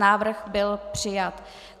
Návrh byl přijat.